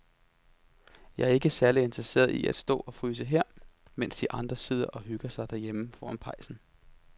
Jeg er ikke særlig interesseret i at stå og fryse her, mens de andre sidder og hygger sig derhjemme foran pejsen.